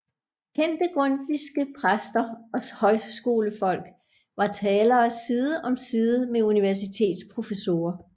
Kendte grundtvigske præster og højskolefolk var talere side om side med universitetsprofessorer